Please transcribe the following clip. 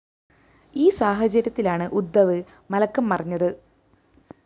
ഈ സാഹചര്യത്തിലാണ് ഉദ്ധവ് മലക്കംമറിഞ്ഞത്